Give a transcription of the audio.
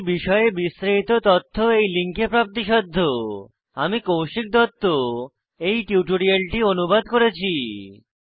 এই বিষয়ে বিস্তারিত তথ্য এই লিঙ্কে প্রাপ্তিসাধ্য httpspoken tutorialorgNMEICT Intro আমি কৌশিক দত্ত এই টিউটোরিয়ালটি অনুবাদ করেছি